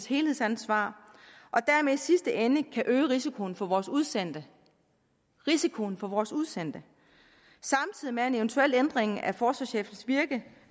helhedsansvar og dermed i sidste ende kan øge risikoen for vores udsendte risikoen for vores udsendte samtidig med at en eventuel ændring af forsvarschefens virke